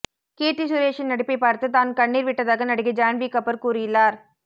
கீர்த்தி சுரேஷின் நடிப்பைப் பார்த்து தான் கண்ணீர் விட்டதாக நடிகை ஜான்வி கபூர் கூறியுள்ளார்